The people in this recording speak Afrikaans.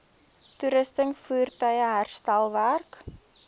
toerusting voertuie herstelwerk